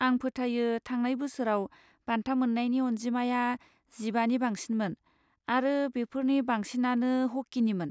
आं फोथायो थांनाय बोसोराव बान्था मोन्नायनि अनजिमाया जिबानि बांसिनमोन आरो बेफोरनि बांसिनानो हकिनिमोन।